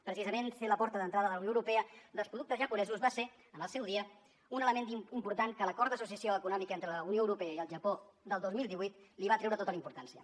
precisament ser la porta d’entrada de la unió europea dels productes japonesos va ser al seu dia un element important que l’acord d’associació econòmica entre la unió europea i el japó del dos mil divuit li va treure tota la importància